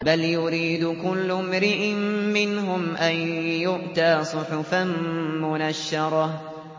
بَلْ يُرِيدُ كُلُّ امْرِئٍ مِّنْهُمْ أَن يُؤْتَىٰ صُحُفًا مُّنَشَّرَةً